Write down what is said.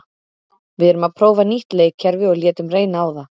Við erum að prófa nýtt leikkerfi og létum reyna á það.